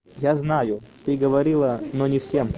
я знаю ты говорила но не всем